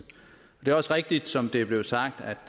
det er også rigtigt som det er blevet sagt at